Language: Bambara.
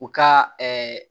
U ka